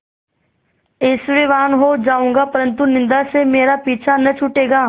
ऐश्वर्यवान् हो जाऊँगा परन्तु निन्दा से मेरा पीछा न छूटेगा